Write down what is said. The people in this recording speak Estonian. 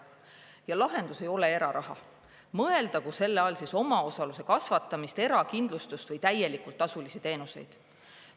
Ja lahendus ei ole eraraha, mõeldagu siis selle all omaosaluse kasvatamist, erakindlustust või täielikult tasulisi teenuseid.